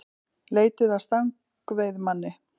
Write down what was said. Leituðu að stangveiðimanni